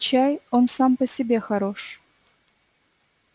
чай он сам по себе хорош